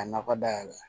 Ka nakɔ dayɛlɛ